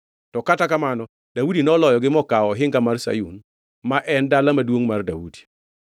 To kata kamano Daudi noloyogi mokawo ohinga mar Sayun, ma en Dala Maduongʼ mar Daudi.